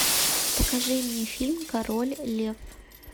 покажи мне фильм король лев